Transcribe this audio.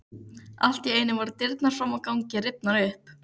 Allt í einu voru dyrnar fram á ganginn rifnar upp.